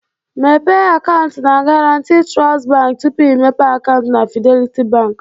Mepee akaụntụ na Garanti Trust Bank tupu imepe akaụntụ na Fidelity Bank